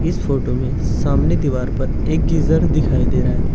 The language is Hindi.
इस फोटो में सामने दीवार पर एक गीजर दिखाई दे रहा है।